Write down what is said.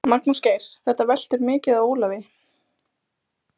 Magnús Geir: Þetta veltur mikið á Ólafi?